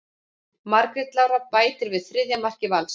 Margrét Lára bætir við þriðja marki Vals.